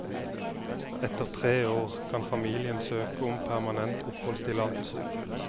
Etter tre år kan familien søke om permanent oppholdstillatelse.